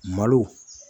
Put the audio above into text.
Malo